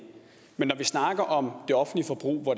men når vi snakker om det offentlige forbrug hvor